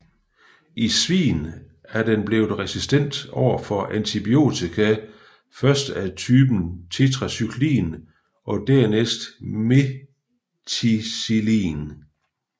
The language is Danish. I svin er den blevet resistent over for antibiotika først af typen tetracyklin og dernæst methicillin